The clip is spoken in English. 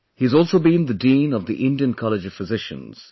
He has also been the Dean of the Indian College of Physicians